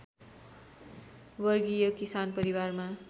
वर्गीय किसान परिवारमा